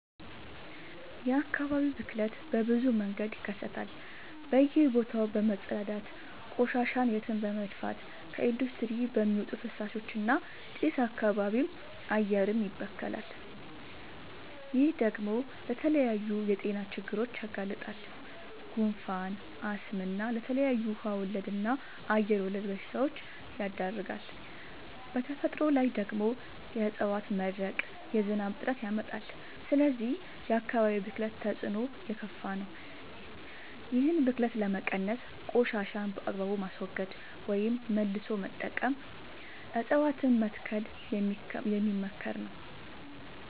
የአካባቢ ብክለት በብዙ መንገድ ይከሰታል በእየ ቦታው በመፀዳዳት፤ ቆሻሻን የትም በመድፍት፤ ከኢንዲስትሪ በሚወጡ ፍሳሾች እና ጭስ አካባቢም አየርም ይበከላል። ይህ ደግሞ ለተለያዩ የጤና ችግሮች ያጋልጣል። ጉንፋን፣ አስም እና ለተለያዩ ውሃ ወለድ እና አየር ወለድ በሽታወች ይዳርጋል። በተፈጥሮ ላይ ደግሞ የዕፀዋት መድረቅ የዝናብ እጥረት ያመጣል። ስለዚህ የአካባቢ ብክለት ተፅዕኖው የከፋ ነው። ይህን ብክለት ለመቀነስ ቆሻሻን በአግባቡ ማስወገድ ወይም መልሶ መጠቀም እፀዋትን መትከል የሚመከር ነው።